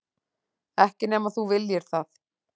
Ekki nema þú viljir það.